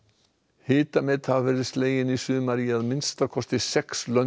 hitamet hafa verið slegin í sumar í að minnsta kosti sex löndum